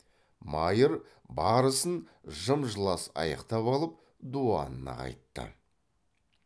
майыр бар ісін жым жылас аяқтап алып дуанына қайтты